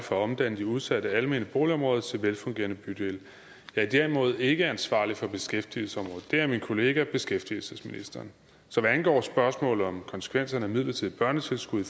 for at omdanne de udsatte almene boligområder til velfungerende bydele jeg er derimod ikke ansvarlig for beskæftigelsesområdet det er min kollega beskæftigelsesministeren så hvad angår spørgsmålet om konsekvenserne af midlertidig børnetilskud i